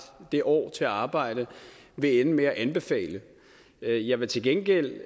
det år til at arbejde i vil ende med at anbefale jeg vil til gengæld